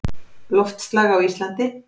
Loftslag á Íslandi